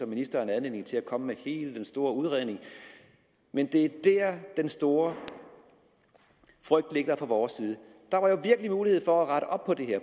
ministeren anledning til at komme med hele den store udredning men det er der den store frygt ligger fra vores side der var jo virkelig mulighed for at rette op på det her